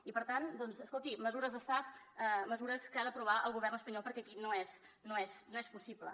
i per tant doncs escolti mesures d’estat mesures que ha d’aprovar el govern espanyol perquè aquí no és possible